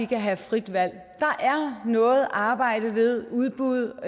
kan have frit valg der er noget arbejde ved udbud